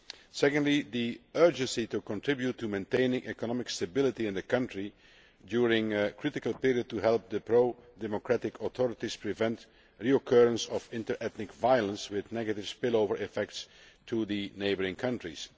Secondly, there is an urgent need to contribute to maintaining economic stability in the country during this critical period to help the pro democratic authorities prevent the recurrence of inter ethnic violence, which has negative spillover effects on the neighbouring countries.